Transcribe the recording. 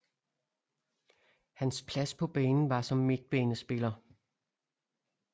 Hans plads på banen var som midtbanespiller